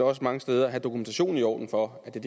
også mange steder have dokumentationen i orden for at det